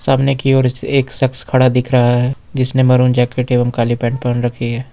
सामने की ओर एक शख्स खड़ा दिख रहा है जिसने मैरून जैकेट एवं काले पेंट पहन रखी है।